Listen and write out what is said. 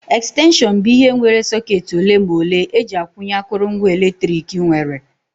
Extension bụ ihe nwere socketị ole ma ole eji akwụnye akụrụngwa eletrik nwere